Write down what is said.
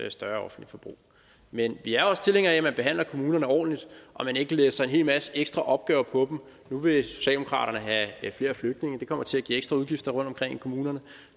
et større offentligt forbrug men vi er også tilhængere af at man behandler kommunerne ordentligt og man ikke læser en hel masse ekstra opgaver over på dem nu vil socialdemokraterne have flere flygtninge det kommer til at give ekstra udgifter rundtomkring i kommunerne